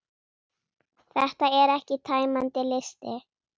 Þetta er ekki tæmandi listi.